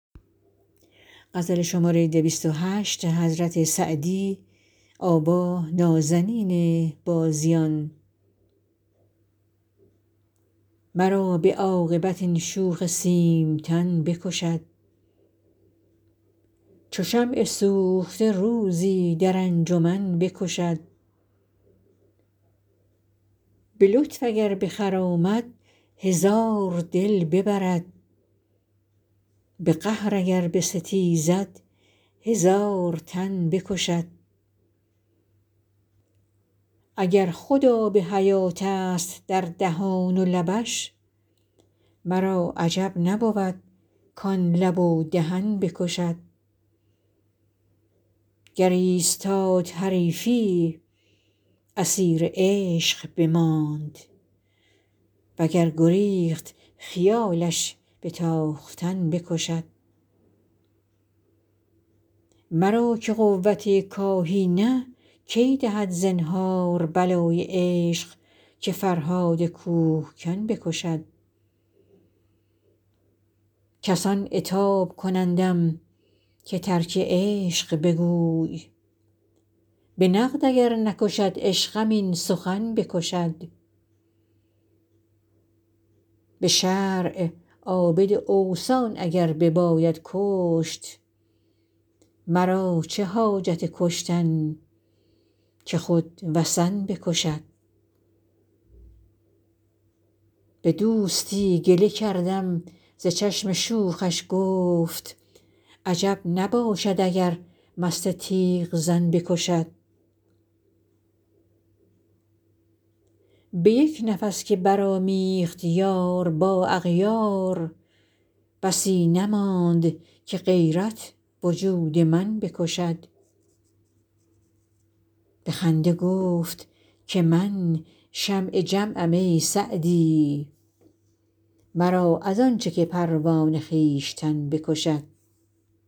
مرا به عاقبت این شوخ سیمتن بکشد چو شمع سوخته روزی در انجمن بکشد به لطف اگر بخرامد هزار دل ببرد به قهر اگر بستیزد هزار تن بکشد اگر خود آب حیاتست در دهان و لبش مرا عجب نبود کان لب و دهن بکشد گر ایستاد حریفی اسیر عشق بماند و گر گریخت خیالش به تاختن بکشد مرا که قوت کاهی نه کی دهد زنهار بلای عشق که فرهاد کوهکن بکشد کسان عتاب کنندم که ترک عشق بگوی به نقد اگر نکشد عشقم این سخن بکشد به شرع عابد اوثان اگر بباید کشت مرا چه حاجت کشتن که خود وثن بکشد به دوستی گله کردم ز چشم شوخش گفت عجب نباشد اگر مست تیغ زن بکشد به یک نفس که برآمیخت یار با اغیار بسی نماند که غیرت وجود من بکشد به خنده گفت که من شمع جمعم ای سعدی مرا از آن چه که پروانه خویشتن بکشد